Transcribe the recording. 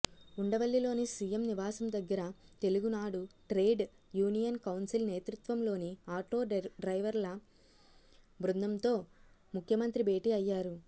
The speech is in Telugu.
ఉండవల్లిలోని సీఎం నివాసం దగ్గర తెలుగునాడు ట్రేడ్ యూనియన్ కౌన్సిల్ నేతృత్వంలోని ఆటోడ్రైవర్ల బృందంతో ముఖ్యమంత్రి భేటీ అయ్యారు